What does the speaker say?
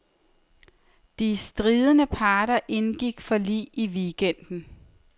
De stridende parter indgik forlig i weekenden.